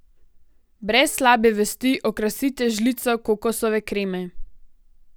Brez slabe vesti okrasite z žlico kokosove kreme.